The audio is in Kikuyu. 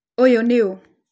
Ũyũ nĩ ũ?